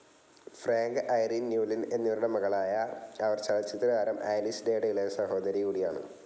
Frank, Irene Newlin എന്നിവരുടെ മകളായ അവർ ചലച്ചിത്രതാരം ആലിസ് ഡേയുടെ ഇളയ സഹോദരിയുംകൂടിയാണ്.